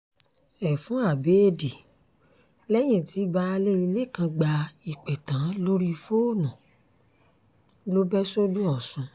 ẹfun abẹ́ẹ̀dì lẹ́yìn tí baálé ilé kan gba ìpè tán lórí fóònù ló bẹ́ sọ́dọ̀ ọ̀sùn